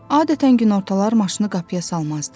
Adətən günortalar maşını qapıya salmazdı.